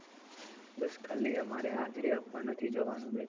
બસ ખાલી અમારે હાજરી આપવા નથી જવાનું